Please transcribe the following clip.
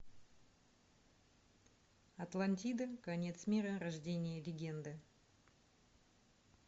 атлантида конец мира рождение легенды